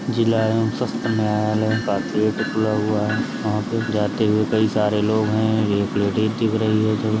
जिला एवं शस्त्र न्यायालय का गेट खुला हुआ है वहाँ पे जाते हुए कई सारे लोग हैं और एक लेडीज़ दिख रही है जो --